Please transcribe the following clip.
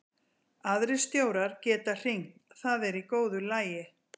Aðrir stjórar geta hringt, það er í góðu lagi.